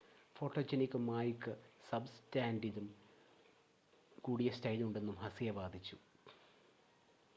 photogenic മായ്ക്ക് സബ്സ്റ്റാൻസിലും കൂടിയ സ്റ്റൈലുണ്ടെന്നും ഹസിയ വാദിച്ചു